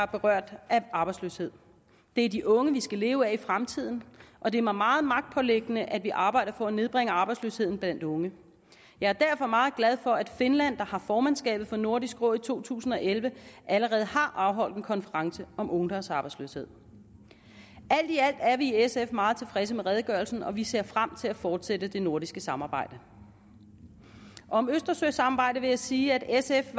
berørt af arbejdsløshed det er de unge vi skal leve af i fremtiden og det er mig meget magtpåliggende at vi arbejder for at nedbringe arbejdsløsheden blandt unge jeg er derfor meget glad for at finland der har formandskabet for nordisk råd i to tusind og elleve allerede har afholdt en konference om ungdomsarbejdsløshed alt i alt er vi i sf meget tilfredse med redegørelsen og vi ser frem til at fortsætte det nordiske samarbejde om østersøsamarbejdet vil jeg sige at sf